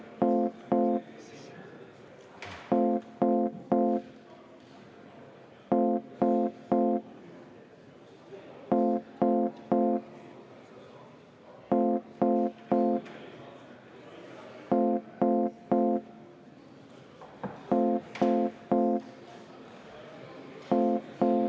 Palun Reformierakonna fraktsiooni nimel kümme minutit vaheaega.